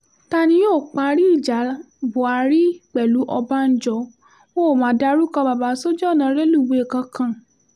ta ni yóò parí ìjà buhari pẹ̀lú ọbànjọ́ wọn ó ma dárúkọ bàbà sójú ọ̀nà rélùwé kankan